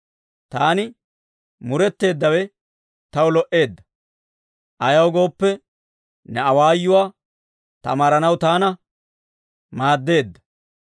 Taani muretteeddawe taw lo"eedda; ayaw gooppe, ne awaayuwaa tamaaranaw taana maaddeedda.